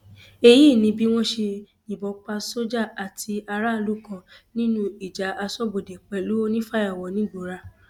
èyí ni bí wọn ṣe yìnbọn pa sójà àti aráàlú kan nínú ìjà asọbodè pẹlú onífàyàwọ nìgbọọra